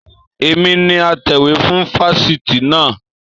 Èmi ni atẹ̀wé fún fáfitì naa